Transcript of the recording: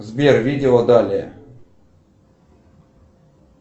сбер видео далее